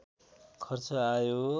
खर्च आयो